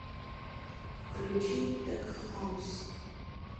включи тек хаус